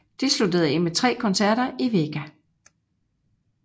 De sluttede af med tre koncerter i Vega